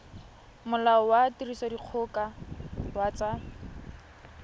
molao wa tirisodikgoka wa tsa